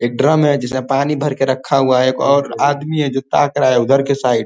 एक ड्रम है जिसमे पानी भर के रखा हुआ है एक और आदमी है जो ताक रहा है उधर के साइड ।